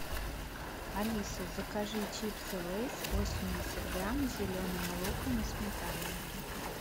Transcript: алиса закажи чипсы лейс восемьдесят грамм с зеленым луком и сметаной